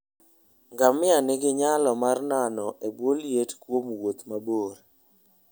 Ngamia nigi nyalo mar nano e bwo liet kuom wuoth mabor.